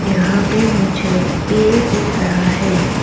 यहां पे मुझे पेड़ दिख रहा है।